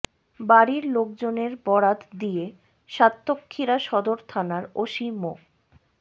বাড়ির লোকজনের বরাত দিয়ে সাতক্ষীরা সদর থানার ওসি মো